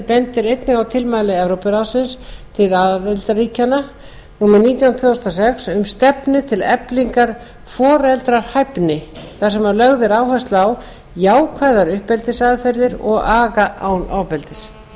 bendir einnig á tilmæli evrópuráðsins til aðildarríkjanna númer nítján tvö þúsund og sex um stefnu til eflingar foreldrahæfni þar sem lögð er áhersla á jákvæðar uppeldisaðferðir og aga án ofbeldis í